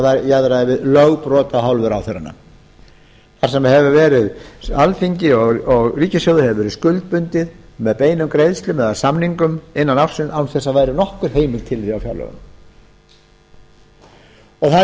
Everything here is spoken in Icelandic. það jaðraði við lögbrot af hálfu ráðherranna þar sem alþingi og ríkissjóður hefur verið skuldbundinn með beinum greiðslum eða samningum innan ársins án þess að það væri nokkur heimild til þess á fjárlögum það